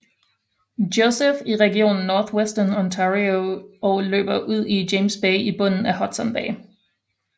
Joseph i regionen Northwestern Ontario og løber ud i James Bay i bunden af Hudson Bay